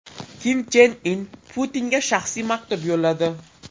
Kim Chen In Putinga shaxsiy maktub yo‘lladi.